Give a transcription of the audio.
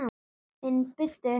Finn buddu.